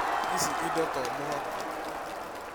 Ĩci indo to mũhaka